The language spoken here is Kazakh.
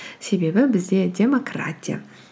себебі бізде демократия